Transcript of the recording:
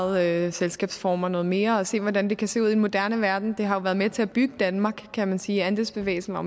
ejede selskabsformer noget mere og se hvordan det kan se ud i en moderne verden det har jo været med til at bygge danmark kan man sige andelsbevægelsen var